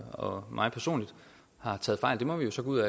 og mig personligt har taget fejl det må vi jo så gå ud